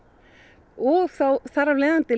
og þar af leiðandi